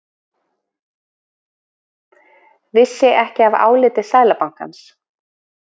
Vissi ekki af áliti Seðlabankans